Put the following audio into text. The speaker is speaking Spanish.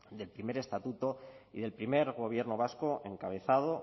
del primer estatuto y del primer gobierno vasco encabezado